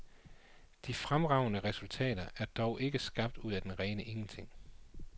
De fremragende resultater er dog ikke skabt ud af det rene ingenting.